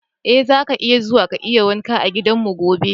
Eh, zaka iya zuwa ka yi wanka a gidanmu gobe.